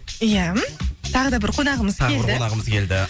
ия м тағы да бір қонағымыз келді тағы бір қонағымыз келді